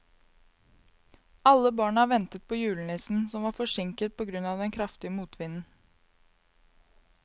Alle barna ventet på julenissen, som var forsinket på grunn av den kraftige motvinden.